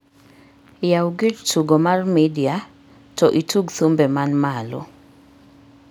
yaw gir tugo mar media to itug thumbe man malo